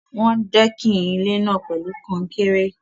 Wọ́n dẹ́kìn ilé náà pẹ̀lú kan-un-kéré.